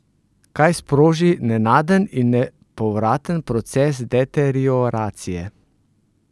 Kaj sproži nenaden in nepovraten proces deterioracije?